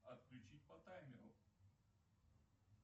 отключить по таймеру